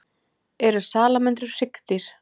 Eru salamöndrur hryggdýr?